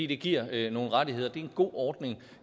det giver nogle rettigheder det er en god ordning